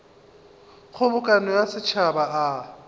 a kgobokano ya setšhaba a